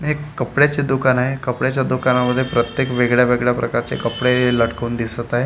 हे एक कपड्याचे दुकान आहे कपड्याच्या दुकानामध्ये प्रत्येक वेगळ्या वेगळ्या प्रकारचे कपडे लटकवून दिसत आहे.